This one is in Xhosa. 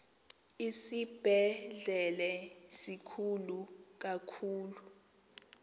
isibhedlele sikhulu kakhulu